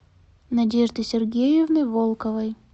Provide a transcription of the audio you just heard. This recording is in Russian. надежды сергеевны волковой